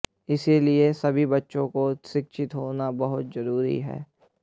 इसलिए सभी बच्चों का शिक्षित होना बहुत जरूरी है